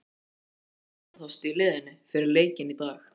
Var einhver hefndarþorsti í liðinu fyrir leikinn í dag?